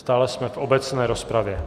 Stále jsme v obecné rozpravě.